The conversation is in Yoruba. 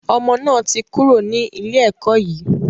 Ọmọ náà ti kúrò ní ilé ẹkọ́ yìí.